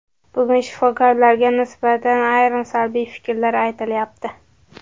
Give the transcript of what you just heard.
Bugun shifokorlarga nisbatan ayrim salbiy fikrlar aytilyapti.